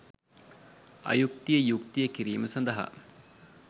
අයුක්තිය යුක්තිය කිරීම සඳහා